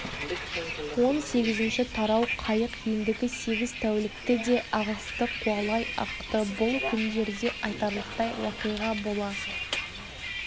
он сегізінші тарау қайық ендігі сегіз тәулікті де ағысты қуалай ақты бұл күндерде айтарлықтай уақиға бола